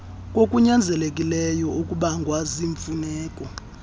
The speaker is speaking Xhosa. kokunyanzelekileyo okubangwa ziimfuneko